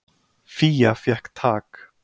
Fía fékk tak.